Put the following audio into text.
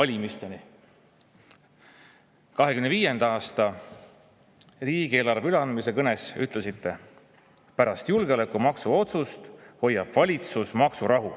2025. aasta riigieelarve üleandmise kõnes ütlesite: pärast julgeolekumaksu otsust hoiab valitsus maksurahu.